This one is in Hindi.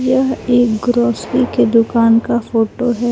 यह एक ग्रोसरी की दुकान का फोटो है।